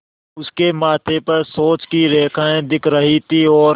उसके माथे पर सोच की रेखाएँ दिख रही थीं और